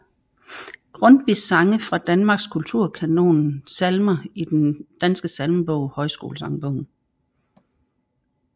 Grundtvig Sange fra Danmark Kulturkanonen Salmer i Den Danske Salmebog Højskolesangbogen